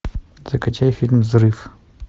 закачай фильм взрыв